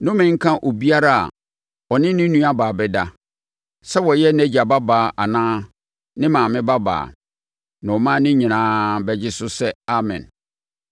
“Nnome nka obiara a ɔne ne nuabaa bɛda, sɛ ɔyɛ nʼagya babaa anaa ne maame babaa.” Na ɔman no nyinaa bɛgye so sɛ, “Amen!”